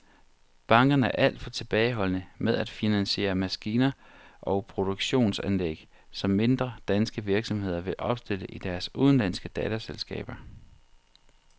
Bankerne er alt for tilbageholdende med at finansiere maskiner og produktionsanlæg, som mindre danske virksomheder vil opstille i deres udenlandske datterselskaber.